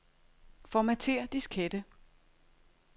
Formatér diskette.